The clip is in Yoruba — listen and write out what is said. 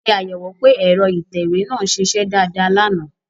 Ṣé àyẹ̀wò pé ẹ̀rọ ìtẹ̀wé náà ń ṣiṣẹ́ dáadáa lánàá